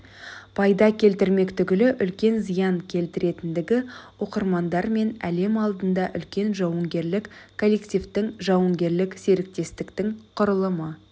пайда келтірмек түгілі үлкен зиян келтіретіндігі оқырмандар мен әлем алдында үлкен жауынгерлік коллективтің-жауынгерлік серіктестіктің құрылымы